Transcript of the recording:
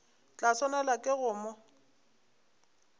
tla swanelwa ke go mo